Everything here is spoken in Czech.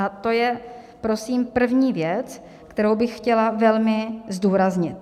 A to je prosím první věc, kterou bych chtěla velmi zdůraznit.